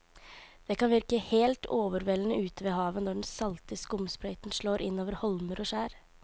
Det kan virke helt overveldende ute ved havet når den salte skumsprøyten slår innover holmer og skjær.